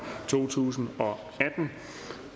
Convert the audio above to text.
to tusind